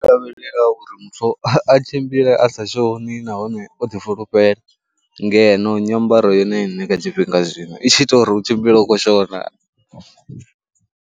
Lavhelela uri muthu a tshimbile a sa shoni nahone o ḓifulufhela ngeno nyambaro yone ine kha tshifhinga zwino i tshi ita uri u tshimbile u khou shona.